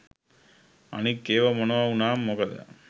අනික් ඒව මොනව උනාම මොකද